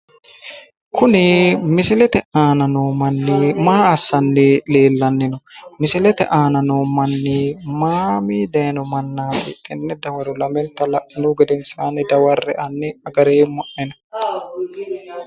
Kuni misilete aana noo manni maa assanni leellanni no? Misilete aana noo manni mamii dayiino mannaati tenne dawaro lamenta la'inihu gedensaani dawarre''e hani agareemmo'nena.